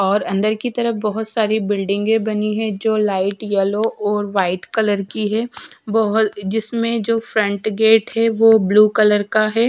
और अंदर की तरफ बहोत सारी बिल्डिंगे बनी है जो लाइट येलो और वाइट कलर की है बहोत जिसमें जो फ्रंट गेट है वो ब्लू कलर का है।